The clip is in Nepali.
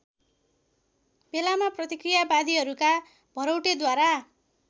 बेलामा प्रतिक्रियावादीहरूका भरौटेद्वारा